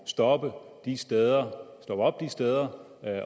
stoppe op de steder steder